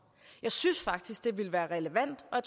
jeg synes faktisk det ville være relevant og